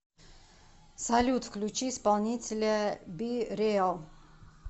салют включи исполнителя би реал